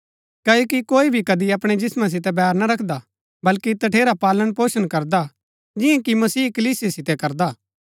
क्ओकि कोई भी कदी अपणै जिस्मां सितै बैर ना रखदा बल्‍की तठेरा पालनपोषण करदा जिआं कि मसीह कलीसिया सितै करदा हा